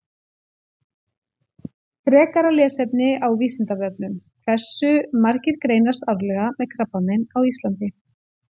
Frekara lesefni á Vísindavefnum: Hversu margir greinast árlega með krabbamein á Íslandi?